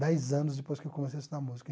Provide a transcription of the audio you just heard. Dez anos depois que eu comecei a estudar música.